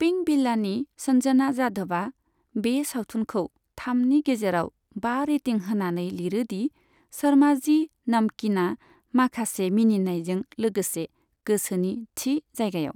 पिंकभिलानि सन्जना जाधबा बे सावथुनखौ थामनि गेजेराव बा रेटिं होनानै लिरो दि शर्माजी नमकीना माखासे मिनिनायजों लोगोसे गोसोनि थि जायगायाव।